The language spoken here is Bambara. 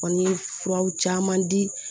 Kɔni ye furaw caman di